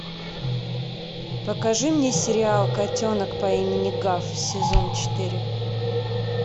покажи мне сериал котенок по имени гав сезон четыре